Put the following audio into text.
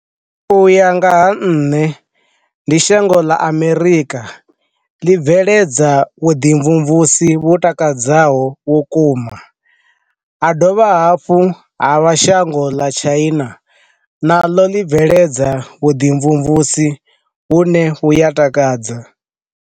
U ya nga ha nṋe, ndi shango ḽa amerika ḽi bveledza vhuḓi tshimvumvusi vhu takadzaho vhukuma, ha dovha hafhu ha vha shango ḽa tshina, na ḽo ḽi bveledza vhuḓi tshimvumvusi vhune vhu ya takadza.